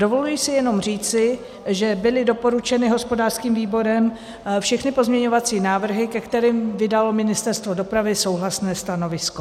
Dovoluji si jenom říci, že byly doporučeny hospodářským výborem všechny pozměňovací návrhy, ke kterým vydalo Ministerstvo dopravy souhlasné stanovisko.